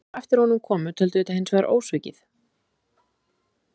Þeir sem á eftir honum komu töldu þetta hins vegar ósvikið.